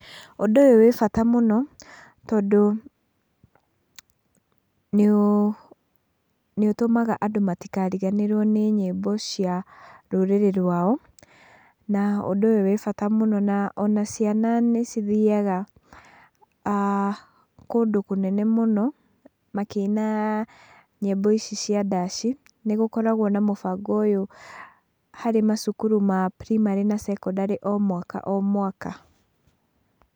Ũndũ ũyũ wĩ bata mũno, tondũ nĩ ũtũmaga andũ matikariganĩrwo nĩ nyimbo cia rũrĩrĩ rwao, na ũndũ ũyũ wĩ bata muno na ona ciana nĩ cithiaga kũndũ kũnene mũno makĩina nyimbo ici cia ndaci, nĩgũkoragwo na mũbango ũyũ harĩ macukuru ma primary na secondary o mwaka o mwaka.